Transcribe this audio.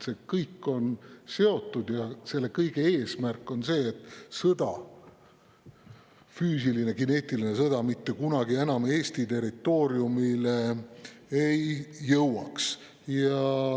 See kõik on seotud ja selle kõige eesmärk on see, et füüsiline, kineetiline sõda mitte kunagi enam Eesti territooriumile ei jõuaks.